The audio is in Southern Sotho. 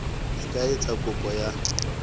e ka etsa kopo ya